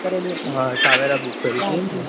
હા Tavera book કરી તી એમ ને